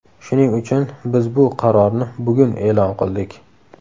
Shuning uchun biz bu qarorni bugun e’lon qildik.